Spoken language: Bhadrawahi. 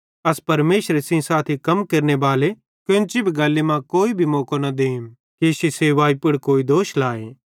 अस परमेशरे सेइं साथी कम केरनेबाले केन्ची भी गल्ली मां कोई भी मौको न देम कि इश्शी सेवाई पुड़ कोई दोष लाए